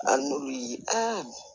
An n'olu ye a